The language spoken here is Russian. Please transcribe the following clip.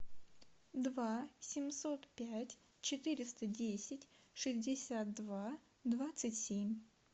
два семьсот пять четыреста десять шестьдесят два двадцать семь